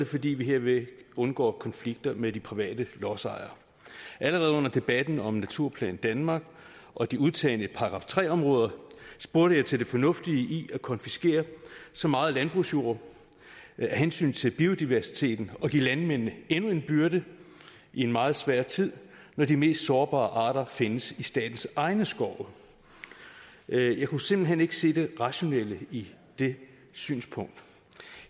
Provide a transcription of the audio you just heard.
fordi vi hermed undgår konflikter med de private lodsejere allerede under debatten om naturplan danmark og de udtagne § tre områder spurgte jeg til det fornuftige i at konfiskere så meget landbrugsjord af hensyn til biodiversiteten og i at give landmændene endnu en byrde i en meget svær tid når de mest sårbare arter findes i statens egne skove jeg kunne simpelt hen ikke se det rationelle i det synspunkt